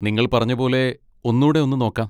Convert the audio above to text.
നിങ്ങൾ പറഞ്ഞ പോലെ, ഒന്നൂടെ ഒന്ന് നോക്കാം.